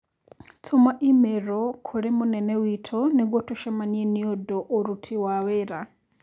Tũma i-mīrū kũrĩ mũnene witũ nĩguo tũcemania nĩũndũ ũrũti wa wĩra